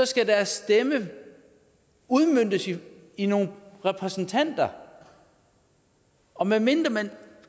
skal deres stemme udmøntes i i nogle repræsentanter og medmindre man